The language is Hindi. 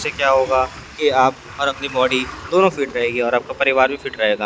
इसे क्या होगा कि आप और अपनी बॉडी दोनों फिट रहेगी और आपका परिवार भी फिट रहेगा।